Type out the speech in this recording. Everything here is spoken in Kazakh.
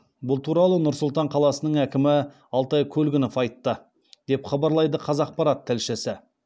бұл туралы нұр сұлтан қаласының әкімі алтай көлгінов айтты деп хабарлайды қазақпарат тілшісі